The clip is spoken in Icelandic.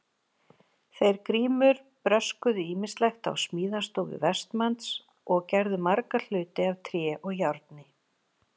Þeir Grímur bröskuðu ýmislegt á smíðastofu Vestmanns og gerðu marga hluti af tré og járni.